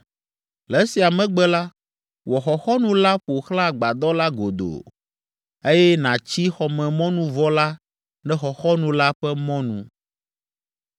Le esia megbe la, wɔ xɔxɔnu la ƒo xlã agbadɔ la godoo, eye nàtsi xɔmemɔnuvɔ la ɖe xɔxɔnu la ƒe mɔnu.